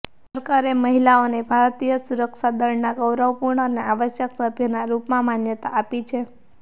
સરકારે મહિલાઓને ભારતીય સુરક્ષાદળના ગૌરવપૂર્ણ અને આવશ્યક સભ્યના રૂપમાં માન્યતા આપી છે